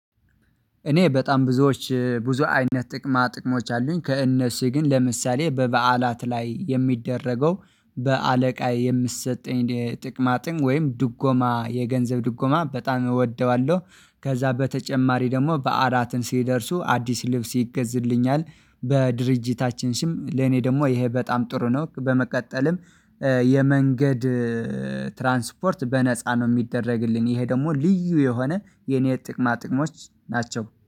እኔ በጣም ብዙዎች ብዙ አይነት ጥቅማ ጥቅሞች አሉኝ ከእነሱ ግን ለምሳሌ በበዓላት ላይ የሚደረገው በአለቃ የምትሰጠኝ ጥቅማጥን ወይም ድጎማ የገንዘብ ድጎማ በጣም እወደዋለሁ። ከዛ በተጨማሪ ደግሞ በዓላት ሲደርሱ አዲስ ልብስ ይገዝልኛል። በድርጅታችን ስም ለኔ ደግሞ ይሄ በጣም ጥሩ ነው። በመቀጠልም የመንገድ ትራንስፖርት በነፃ ነው የሚደረግልኝ። ይሄ ደግሞ ልዩ የሆነ የኔ ጥቅማ ጥቅሞች ናቸው